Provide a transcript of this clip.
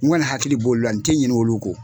N kɔni hakili b'ol la n tɛ ɲinɛ olu kɔ!